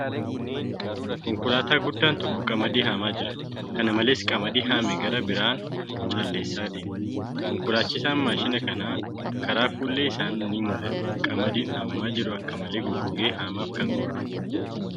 Konkolaataa guddaan tokko qamadii haamaa jira. Kana malees, qamadii haame garaa biraan calleessaa deema. Konkolaachisaan maashina kanaa karaa fuullee keessaan ni mul'ata. Qamadiin haamamaa jiru akka malee goggogee haamaaf kan ga'eedha.